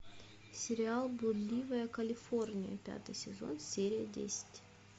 сериал блудливая калифорния пятый сезон серия десять